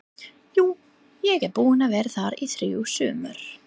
Jú, ég er búinn að vera þar í þrjú sumur